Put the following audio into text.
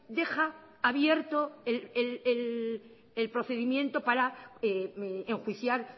deja abierto el procedimiento para enjuiciar